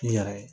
K'i yɛrɛ ye